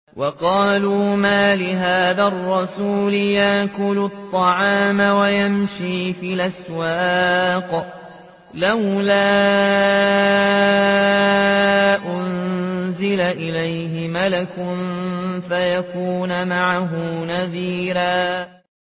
وَقَالُوا مَالِ هَٰذَا الرَّسُولِ يَأْكُلُ الطَّعَامَ وَيَمْشِي فِي الْأَسْوَاقِ ۙ لَوْلَا أُنزِلَ إِلَيْهِ مَلَكٌ فَيَكُونَ مَعَهُ نَذِيرًا